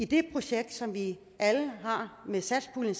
det projekt som vi alle med satspuljen